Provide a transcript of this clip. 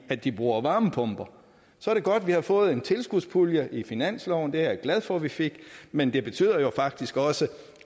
at de bruger varmepumper så er det godt at vi har fået en tilskudspulje i finansloven det er jeg glad for at vi fik men det betyder jo faktisk også